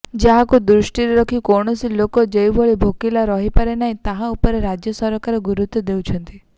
ଯାହାକୁ ଦୃଷ୍ଟିରେ ରଖି କୌଣସି ଲୋକ ଯେଭଳି ଭୋକିଲା ରହିବେନାହଁ ତାହା ଉପରେ ରାଜ୍ୟ ସରକାର ଗୁରୁତ୍ୱ ଦେଉଛନ୍ତି